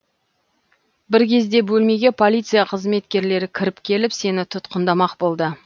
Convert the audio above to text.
бір кезде бөлмеге полиция қызметкерлері кіріп келіп сені тұтқындамақ болды